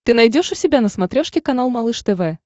ты найдешь у себя на смотрешке канал малыш тв